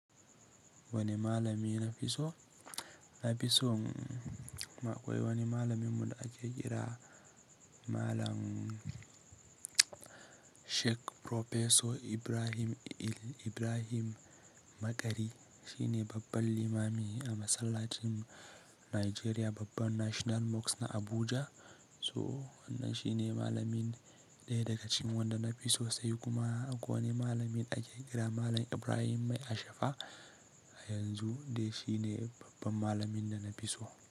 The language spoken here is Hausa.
Wani malami na fi so, na fi son akwai wani malamin mu da ake kira Malam Sheik Proffesor Ibrahim El Ibrahim Maqari. Shi ne babban limami a masallacin Najeriya, babban National Mosque na Abuja. So wannan shi ne malamin ɗaya daga cikin wanda na fi so sai kuma akwai wani malamin ake kira Malam Ibrahim Mai Ashafa yanzu dai shi ne babban malamin da na fi so.